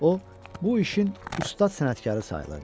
O, bu işin ustad sənətkarı sayılırdı.